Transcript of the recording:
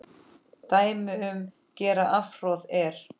Dæmi um gera afhroð er